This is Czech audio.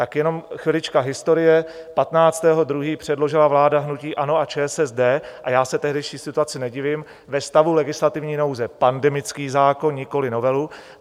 Tak jenom chvilička historie: 15. 2. předložila vláda hnutí ANO a ČSSD, a já se tehdejší situaci nedivím, ve stavu legislativní nouze pandemický zákon, nikoliv novelu.